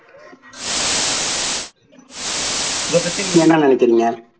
இதைப்பத்தி நீங்க என்ன நினைக்குறிங்க?